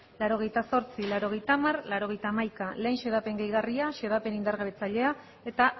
laurogeita zortzi laurogeita hamar laurogeita hamaika lehen xedapen gehigarria xedapen indargabetzailea eta